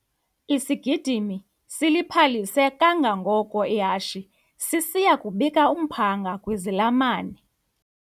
Isigidimi siliphalise kangangoko ihashe sisiya kubika umphanga kwizalamane.